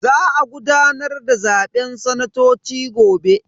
Za a gudanar da zaben sanatoci gobe.